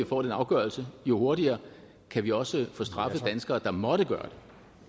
får den afgørelse jo hurtigere kan vi også få straffet danskere der måtte gøre